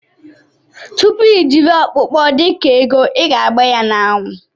Tupu ijiri okpokpo dika ego iga agba ya na anwụ.